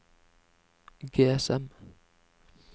GSM